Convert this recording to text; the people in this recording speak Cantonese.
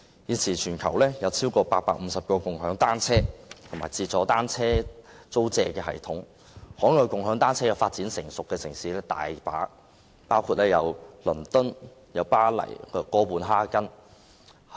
現時全球有超過850套"共享單車"及"自助單車租借"的系統，"共享單車"已發展成熟的海外城市亦有很多，包括倫敦、巴黎和哥本哈根。